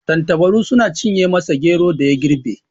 Tattabaru sun cinye masa geron da ya girbe.